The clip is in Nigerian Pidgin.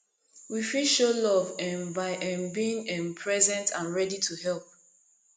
we fit show love um by um being um present and ready to help